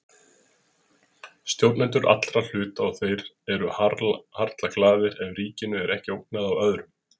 Stjórnendur allra hluta og þeir eru harla glaðir ef ríkinu er ekki ógnað af öðrum.